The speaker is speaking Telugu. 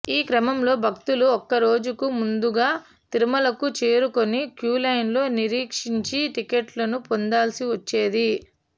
ఈ క్రమంలో భక్తులు ఒక్క రోజుకు ముందుగా తిరుమలకు చేరుకుని క్యూలైన్లలో నిరీక్షించి టిక్కెట్లను పొందాల్సి వచ్చేది